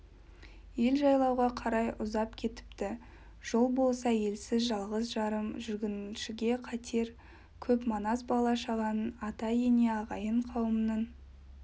ел жайлауға қарай ұзап кетіпті жол болса елсіз жалғыз-жарым жүргіншіге қатер көп манас бала-шағаның ата-ене ағайын-қауымның